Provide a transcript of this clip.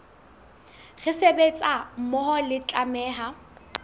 re sebetsa mmoho re tlameha